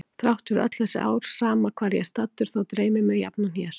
Þrátt fyrir öll þessi ár sama hvar ég er staddur þá dreymir mig jafnan hér.